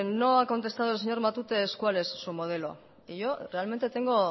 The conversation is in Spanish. no ha contestado el señor matute es cuál su modelo y yo realmente tengo